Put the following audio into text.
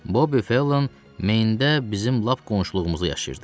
Bobbi Fellən Meyndə bizim lap qonşuluğumuzda yaşayırdı.